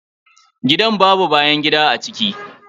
Gidan babau bayan gida a ciki.